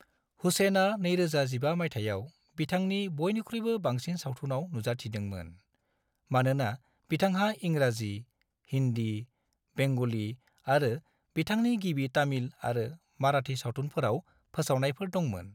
हुसेना 2015 मायथायाव बिथांनि बयनिख्रुयबो बांसिन सावथुनाव नुजाथिदोंमोन, मानोना बिथांहा इंराजि, हिन्दी, बेंगली आरो बिथांनि गिबि तामिल आरो माराठी सावथुनफोराव फोसावनायफोर दंमोन।